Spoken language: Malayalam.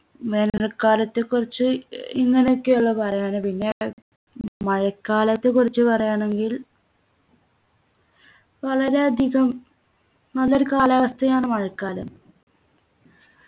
വേനൽക്കാലത്തെ കുറിച്ച് ഏർ ഇങ്ങനൊക്കെയുള്ളൂ പറയാന് പിന്നെ മഴക്കാലത്തെ കുറിച്ച് പറയാണെങ്കിൽ വളരെയധികം നല്ലൊരു കാലാവസ്ഥയാണ് മഴക്കാലം